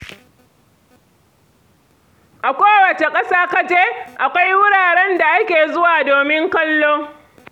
A kowace ƙasa ka je, akwai wuraren da ake zuwa domin kallo.